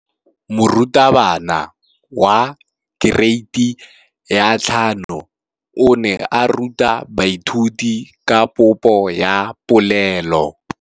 Moratabana wa kereiti ya 5 o ne a ruta baithuti ka popô ya polelô.